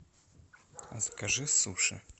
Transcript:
закажи суши